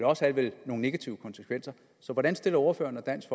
også have nogle negative konsekvenser så hvordan stiller ordføreren og dansk